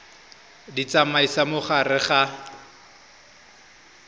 di tsamaisa mo gare ga